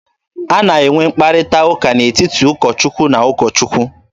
A na-enwe mkparịta ụka n'etiti ụkọ Chukwu na ụkọ Chukwu.